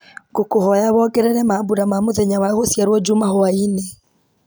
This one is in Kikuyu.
ngũkwĩhoya wongerere mambura ma mũthenya wa gũciarwo njuma hwaĩ-inĩ